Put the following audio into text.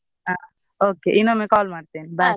ಹಾ okay ಇನ್ನೊಮ್ಮೆ call ಮಾಡ್ತೆನೇ bye .